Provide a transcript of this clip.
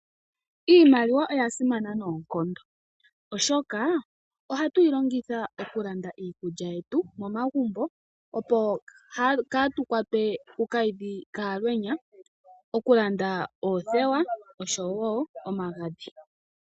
Iimaliwa oya simana nookondo. Oshoka, ohatu yi longitha oku landa iikulya yetu momagumbo opo kaatukwatwe ku kayidhi kaalwenya. Oku landa oothewa oshowo omagadhi.